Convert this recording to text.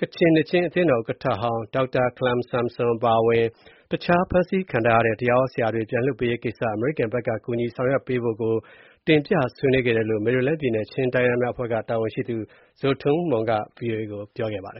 ကချင်နှစ်ခြင်းအသင်းတော်ဥက္ကဌဟောင်း ဒေါက်တာခလမ်ဆမ်ဆွမ် အပါအဝင် တခြား ဖမ်းဆီးခံထားရတဲ့ တရားဟောဆရာတွေ ပြန်လွှတ်ပေးရေးကိစ္စ အမေရိကန်ဘက်က ကူညီဆောင်ရွက်ပေးဖို့တို့ကို တင်ပြဆွေးနွေးခဲ့တယ်လို့ မယ်ရီလန်းပြည်နယ် ချင်းတိုင်းရင်းသားများအဖွဲ့က တာဝန်ရှိသူ Zo Tum Hmung က ဗွီအိုအေကို ပြောပါတယ